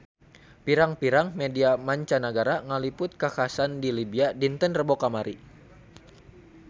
Pirang-pirang media mancanagara ngaliput kakhasan di Libya dinten Rebo kamari